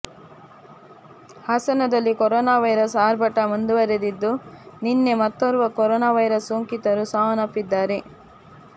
ಹಾಸನದಲ್ಲಿ corona virus ಆರ್ಭಟ ಮುಂದುವರೆದಿದ್ದು ನಿನ್ನೆ ಮತ್ತೋರ್ವ ಕೊರೋನಾ ವೈರಸ್ ಸೋಂಕಿತರು ಸಾವನ್ನಪ್ಪಿದ್ದಾರೆ